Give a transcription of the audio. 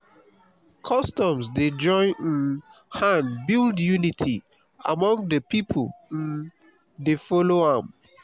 customs dey join um hand build unity among de pipo wey um dey follow am.